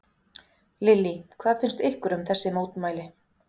Lillý: Hvað finnst ykkur um þessi mótmæli?